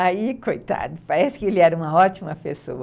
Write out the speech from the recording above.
Aí, coitado, parece que ele era uma ótima pessoa.